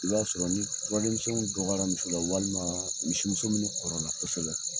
I b'a sɔrɔ ni dɔgɔyara muso la walima misimuso min kɔrɔ la kosɛbɛ.